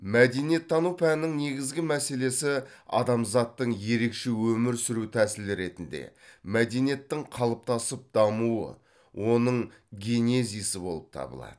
мәдениеттану пәнінің негізгі мәселесі адамзаттың ерекше өмір сүру тәсілі ретінде мәдениеттің қалыптасып дамуы оның генезисі болып табылады